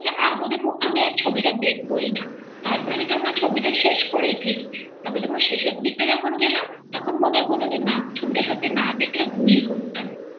হ্যাঁ আর বোধহয় আমি ওই ছবিটা দেখবোই না তারপরে দেখলাম ছবিটা শেষ করেই ফেলি তারপর যখন শেষের দিকটা গেলাম তখন মনে হল যে না ছবিটা সত্যি না দেখলে ভুলই করতাম ৷